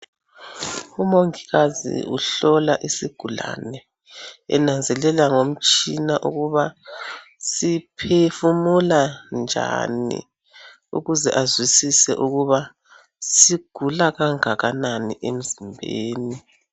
Umongikazi uhlola isigulane enanzelela ngomtshina ukuba siphefumula njani ukuze azwisise ukuba sigula kangakanani emzimbeni.